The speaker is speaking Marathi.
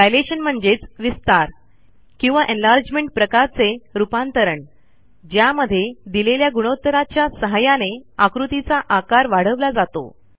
डायलेशन म्हणजेच विस्तार किंवा एन्लार्जमेंट प्रकारचे रूपांतरण ज्यामध्ये दिलेल्या गुणोत्तराच्या सहाय्याने आकृतीचा आकार वाढवला जातो